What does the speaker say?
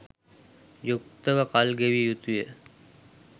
යුක්තව කල් ගෙවිය යුතු ය.